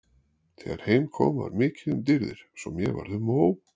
Þegar heim kom var mikið um dýrðir svo mér varð um og ó.